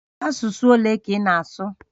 Asụsụ ole ka ị na-asụ?